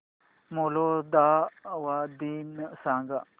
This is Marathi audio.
मोल्दोवा दिन सांगा